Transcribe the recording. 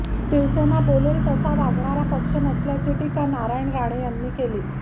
शिवसेना बोलेल तसा वागणारा पक्ष नसल्याची टीका नारायण राणे यांनी केली